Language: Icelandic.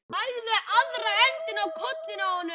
Lagði aðra höndina á kollinn á honum.